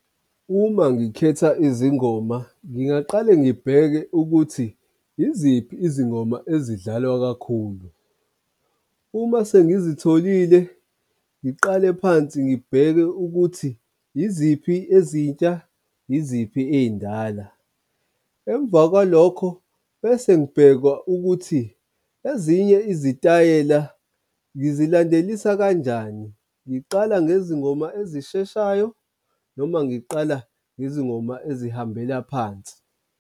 Uma ngikhetha izingoma ngingaqale ngibheke ukuthi iziphi izingoma ezidlalwa kakhulu. Uma sengizitholile ngiqale phansi ngibheke ukuthi iziphi ezintsha yiziphi ey'ndala, emva kwalokho bese ngibheka ukuthi ezinye izitayela ngizilandelisa kanjani? Ngiqala ngezingoma ezisheshayo noma ngiqala nezingoma ezihambela phansi.